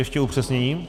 Ještě upřesnění.